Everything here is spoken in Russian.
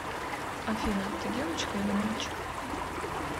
афина ты девочка или мальчик